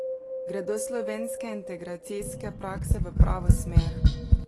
Gredo slovenske integracijske prakse v pravo smer?